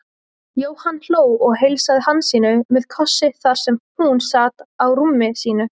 Jóhann hló og heilsaði Hansínu með kossi þar sem hún sat á rúmi sínu.